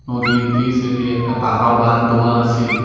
নদীর এই সাইড -এ একটা পাকা বান্ধ দেওয়া আছে।